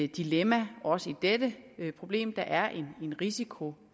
dilemma også i dette problem der er en risiko